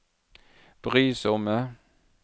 brysomme